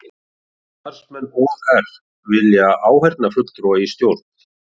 Starfsmenn OR vilja áheyrnarfulltrúa í stjórn